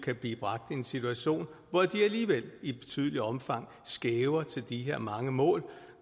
kan blive bragt i en situation hvor de alligevel i betydeligt omfang skæver til de her mange mål